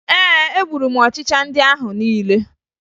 Ee, egburu m ọchịcha ndị ahụ niile